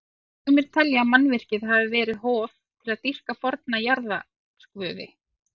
Sumir telja að mannvirkið hafi verið hof til að dýrka forna jarðarguði.